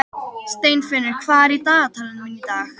Steinfinnur, hvað er í dagatalinu mínu í dag?